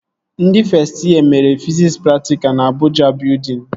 Ndị fest yee mere fiziks praktikalụ na Abụja Bịudịn